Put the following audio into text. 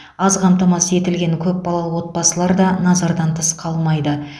аз қамтамасыз етілген көпбалалы отбасылар да назардан тыс қалмайды